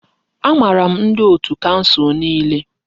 Amaara m ndi otù kansụl niile.